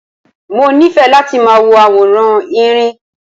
Mo nífẹ̀ẹ́ láti máa wo àwòrán Erin.